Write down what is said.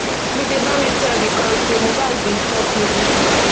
dj bami tell di court say mohbad bin chop noodles